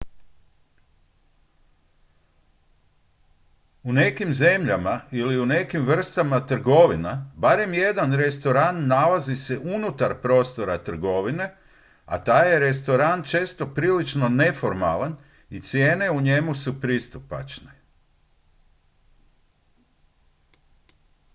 u nekim zemljama ili u nekim vrstama trgovina barem jedan restoran nalazi se unutar prostora trgovine a taj je restoran često prilično neformalan i cijene u njemu su pristupačne